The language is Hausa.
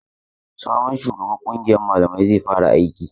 Sabon shugaban kungiyar malamai zai fara aiki.